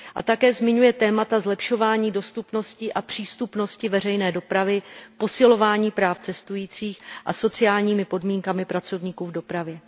A také zmiňuje témata zlepšování dostupnosti a přístupnosti veřejné dopravy, posilování práv cestujících a zabývá se sociálními podmínkami pracovníků v dopravě.